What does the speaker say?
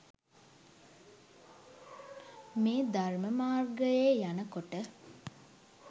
මේ ධර්ම මාර්ගයේ යන කොට